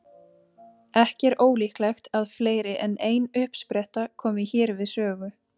Ekki er ólíklegt að fleiri en ein uppspretta komi hér við sögu.